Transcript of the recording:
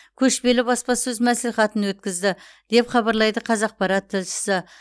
көшпелі баспасөз мәслихатын өткізді деп хабарлайды қазақпарат тілшісі